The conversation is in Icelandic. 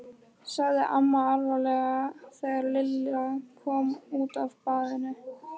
sagði amma alvarleg þegar Lilla kom út af baðinu.